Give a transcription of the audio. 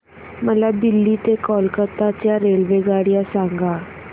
मला दिल्ली ते कोलकता च्या रेल्वेगाड्या सांगा